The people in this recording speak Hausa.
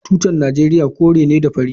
Tutan Najeriya kore ne da fari.